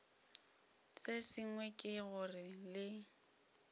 se sengwe ke gore le